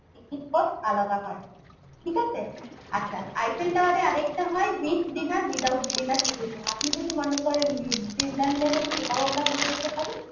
ticket cost আলাদা হয় ঠিক আছে আচ্ছা Eiffel Tower এর আরেকটা হয় with dinner without dinner ticket হয় আপনি যদি মনে করেন with dinner নেবেন সেটাও আমরা করে দিতে পারি